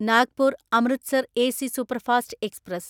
Nagpur Amritsar AC superfast express